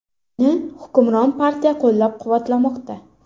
Uni hukmron partiya qo‘llab-quvvatlamoqda.